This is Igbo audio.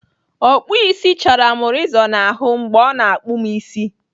Ọkpụisi chaara m rezọ n'ahụ mgbe ọ na-akpụ m isi.